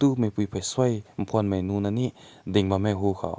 tu peshui phün nun na me ding bam meh ru kaw.